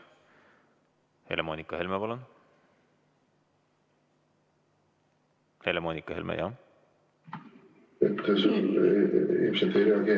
Helle-Moonika Helme, palun!